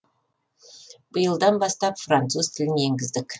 биылдан бастап француз тілін енгіздік